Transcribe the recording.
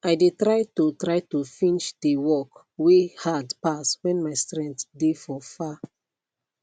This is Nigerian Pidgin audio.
i de try to try to finsh de work wey hard pass when my strength de for far